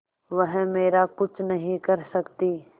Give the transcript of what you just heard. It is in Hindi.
वह मेरा कुछ नहीं कर सकती